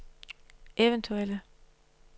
eventuelle